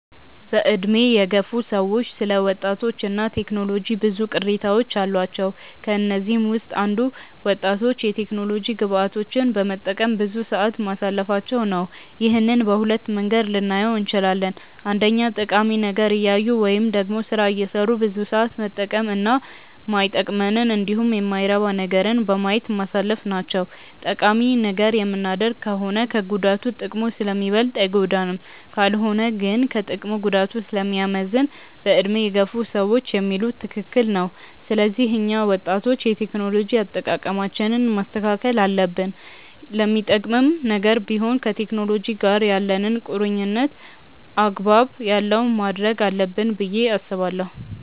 በዕድሜ የገፉ ሰዎች ስለ ወጣቶች እና ቴክኖሎጂ ብዙ ቅሬታዎች አሏቸው። ከነዚህም ውስጥ አንዱ ወጣቶች የቴክኖሎጂ ግብአቶችን በመጠቀም ብዙ ሰዓት ማሳለፋቸው ነው። ይህንን በሁለት መንገድ ልናየው እንችላለን። አንደኛ ጠቃሚ ነገር እያዩ ወይም ደግሞ ስራ እየሰሩ ብዙ ሰዓት መጠቀም እና ማይጠቅመንንን እንዲሁም የማይረባ ነገርን በማየት ማሳለፍ ናቸው። ጠቃሚ ነገር የምናደርግ ከሆነ ከጉዳቱ ጥቅሙ ስለሚበልጥ አይጎዳንም። ካልሆነ ግን ከጥቅሙ ጉዳቱ ስለሚያመዝን በዕድሜ የገፉ ሰዎች የሚሉት ትክክል ነው። ስለዚህ እኛ ወጣቶች የቴክኖሎጂ አጠቃቀማችንን ማስተካከል አለብን። ለሚጠቅምም ነገር ቢሆን ከቴክኖሎጂ ጋር ያለንን ቁርኝነት አግባብ ያለው ማድረግ አለብን ብዬ አስባለሁ።